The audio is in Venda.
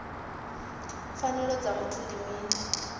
pfanelo dza muthu ndi mini